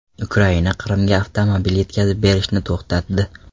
Ukraina Qrimga avtomobil yetkazib berishni to‘xtatdi.